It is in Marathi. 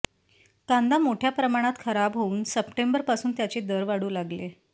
कांदा मोठ्या प्रमाणात खराब होऊन सप्टेंबरपासून त्याचे दर वाढू लागले